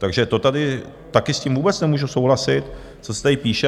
Takže to tady také s tím vůbec nemůžu souhlasit, co se tady píše.